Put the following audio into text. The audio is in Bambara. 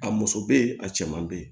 A muso bɛ yen a cɛman bɛ yen